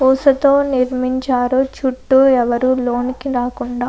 ఊసతో నిర్మించారు చుట్టూ ఎవరు లోనికి రాకుండా.